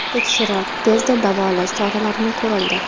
Tekshirib, tezda davolash choralari ko‘rildi.